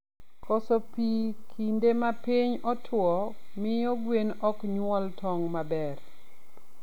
Koso pii kinde ma piny otuo, miyo gwen oknyuol tong maber